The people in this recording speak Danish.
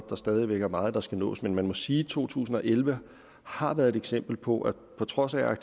der stadig væk er meget der skal nås men man må sige at to tusind og elleve har været et eksempel på at på trods af